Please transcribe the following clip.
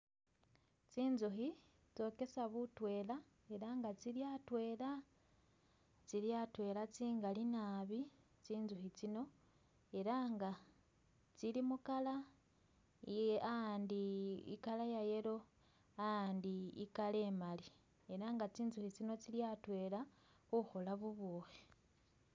Tsinzukhi tsokesa butwela ela nga tsili atwela , tsili atwela tsingali nabi tsinzukhi tsino, ela nga tsili mu color iye a'andi i'color ya yellow a'andi i'color emali ela nga tsinzukhi tsino tsili atwela khukhola bubukhi